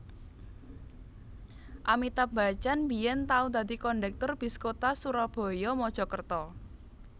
Amitabh Bachchan biyen tau dadi kondektur bis kota Surabaya Mojokerto